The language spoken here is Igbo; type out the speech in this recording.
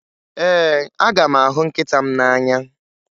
Ee, aga m ahụ nkịta m n'anya